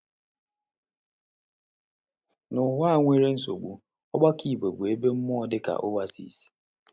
N’ụwa a nwere nsogbu, ọgbakọ Igbo bụ ebe mmụọ dị ka oasis.